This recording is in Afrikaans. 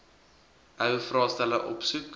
ou vraestelle opsoek